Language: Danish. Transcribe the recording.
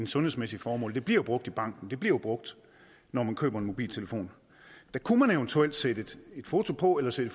sundhedsmæssige formål det bliver jo brugt i banken det bliver brugt når man køber en mobiltelefon der kunne man eventuelt sætte et foto på eller sætte